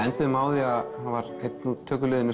enduðum á því að einn úr